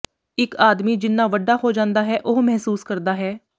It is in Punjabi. ਇੱਕ ਆਦਮੀ ਜਿੰਨਾ ਵੱਡਾ ਹੋ ਜਾਂਦਾ ਹੈ ਉਹ ਮਹਿਸੂਸ ਕਰਦਾ ਹੈ